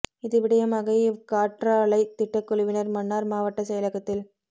இது விடயமாக இவ் காற்றாலை திட்ட குழுவினர் மன்னார் மாவட்ட செயலகத்தில்